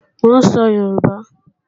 Mò ń sọ Yorùbá